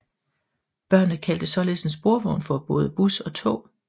Børnene kaldte således en sporvogn for både bus og tog